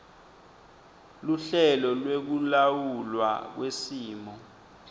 luhlelo lwekulawulwa kwesimo